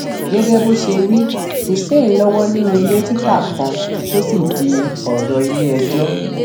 gẹgẹ bó ṣe wí hussein lọwọ nínú ilé títa kan tó sì di ọrọ iléẹjọ